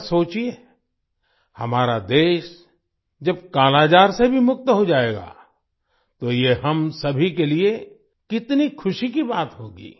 जरा सोचिए हमारा देश जब कालाजार से भी मुक्त हो जाएगा तो ये हम सभी के लिए कितनी खुशी की बात होगी